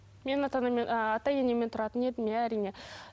мен ата енемен а ата енеммен тұратын едім иә әрине